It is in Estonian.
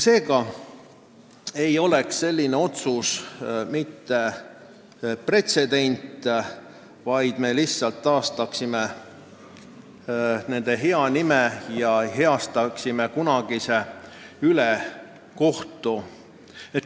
Seega ei oleks selline otsus mitte pretsedent, vaid me taastaksime lihtsalt nende inimeste hea nime ja heastaksime kunagise ülekohtu.